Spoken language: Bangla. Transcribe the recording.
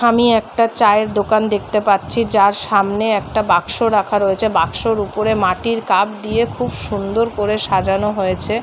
আমি একটা চায়ের দোকান দেখতে পাচ্ছি। যার সামনে একটা বাক্সো রাখা রয়েছে বাক্সোর উপরে মাঠির কাপ দিয়ে খুব সুন্দর করে সাজানো হয়েছে ।